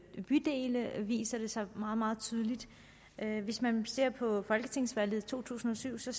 bydele viser det sig meget meget tydeligt hvis man ser på folketingsvalget i to tusind og syv så